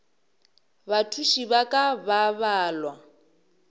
bathuši ba ka ba balwa